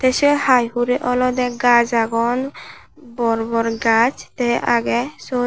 tey sei hai hurey olodey gaaj agon bor bor gaaj tey agey syot.